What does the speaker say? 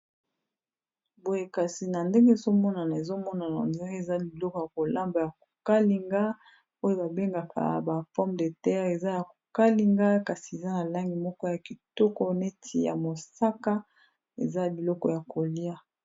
Boye kasi na ndenge ezomonana, ezomonana on dirait eza biloko ya kolamba ya kokalinga, oyo babengaka ba porme de terre eza ya kokalinga, kasi eza ya langi moko ya kitoko neti ya mosaka eza biloko ya kolia.